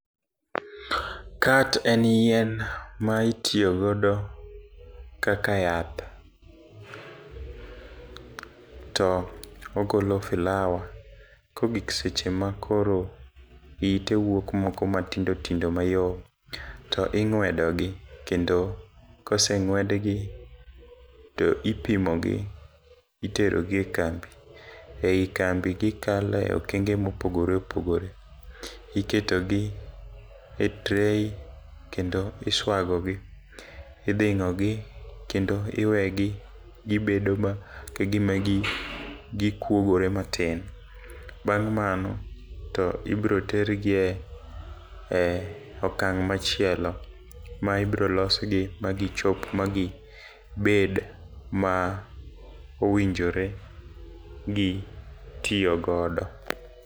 Cat en yien ma itiyo godo kaka yath to ogolo filawa. Kogik seche ma koro ite wuok moko matindotindo mayom to ing'wedo gi kendo koseng'wedgi to ipimo gi itero gi e kambi ei kambi gikalo e okenge mopogore opogore. Iketo gi e tray kendo iswago gi idhing'o gi kendo iwegi gibed o ma kagima gikuogore matin . Bang' mano tibro ter gi e e okang' machielo ma ibro losgi magichop ma gibed ma owinjore gi tiyo godo.